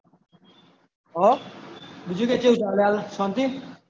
ઔર બિજુ કાઇ કેવુ ચાલે હવે શન્તિ